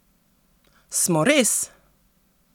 Smo res?